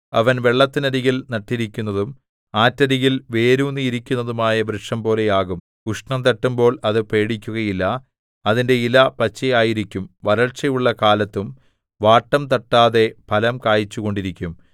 അവൻ വെള്ളത്തിനരികിൽ നട്ടിരിക്കുന്നതും ആറ്റരികിൽ വേരൂന്നിയിരിക്കുന്നതുമായ വൃക്ഷംപോലെയാകും ഉഷ്ണം തട്ടുമ്പോൾ അത് പേടിക്കുകയില്ല അതിന്റെ ഇല പച്ചയായിരിക്കും വരൾച്ചയുള്ള കാലത്തും വാട്ടം തട്ടാതെ ഫലം കായിച്ചുകൊണ്ടിരിക്കും